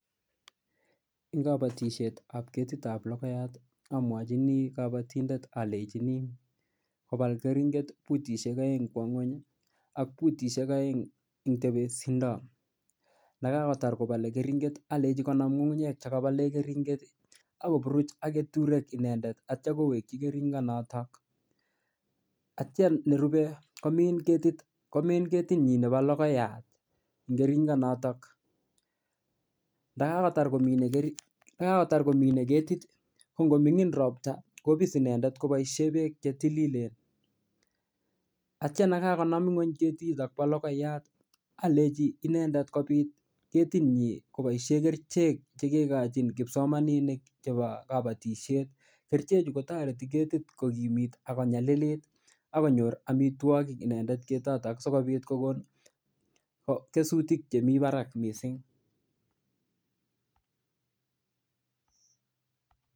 Eng kabatisietab ketitab logoyat amwachini kabotindet alenchini kobal keringet butisiek aeng kwo ngweny ak butisiek aeng eng tebesindo. Ndakakotar kobole keringet alenji konam ngungunyek chekabole keringet ak koburuch ak keturek inendet ak kitya kowekyi keringonotok. Aktyan nerube komin ketit. Komin ketinyin nebo logoyat eng keringonotok. Ndakakotar komine ketit ko ngomingin ropta kopis inendet koboisie beek che tililen. Atyan kokakonam ngweny ketito bo logoyat aleji kopit ketinyi koboisie kerichek che kikochin kipsomaninik chebo kabatisiet. Kerichechu kotoreti ketit kogimit ak konyalilit ak konyor amitwogik inendet ketit sigopit konyor kesutik chemi barak mising.